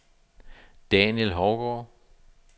Daniel Hougaard